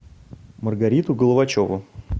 маргариту головачеву